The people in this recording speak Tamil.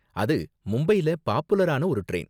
அது மும்பைல பாப்புலரான ஒரு டிரைன்.